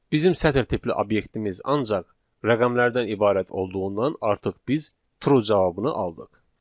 Bizim sətr tipli obyektimiz ancaq rəqəmlərdən ibarət olduğundan artıq biz true cavabını aldıq.